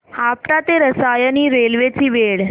आपटा ते रसायनी रेल्वे ची वेळ